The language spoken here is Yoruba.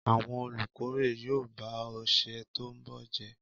Àwọn olùkórè yóò ba ọ̀sẹ̀ tó ń bọ̀ jẹ́.